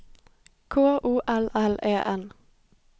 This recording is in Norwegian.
K O L L E N